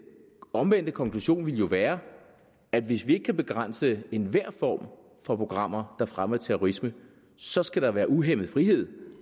omvendte konklusion ville jo være at hvis vi ikke kan begrænse enhver form for programmer der fremmer terrorisme så skal der være uhæmmet frihed